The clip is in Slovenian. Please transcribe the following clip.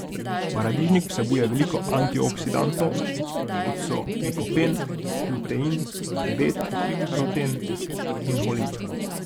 Paradižnik vsebuje veliko antioksidantov, kot so likopen, lutein, bet karoten in holin.